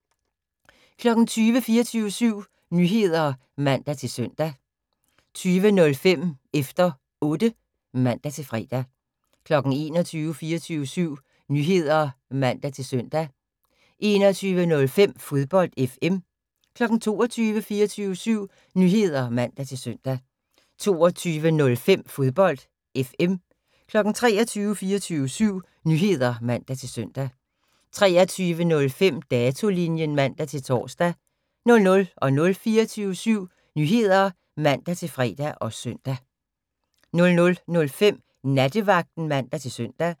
20:00: 24syv Nyheder (man-søn) 20:05: Efter Otte (man-fre) 21:00: 24syv Nyheder (man-søn) 21:05: Fodbold FM 22:00: 24syv Nyheder (man-søn) 22:05: Fodbold FM 23:00: 24syv Nyheder (man-søn) 23:05: Datolinjen (man-tor) 00:00: 24syv Nyheder (man-fre og søn) 00:05: Nattevagten (man-søn)